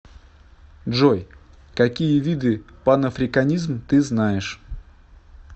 джой какие виды панафриканизм ты знаешь